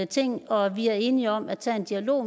ting og vi er enige om at tage en dialog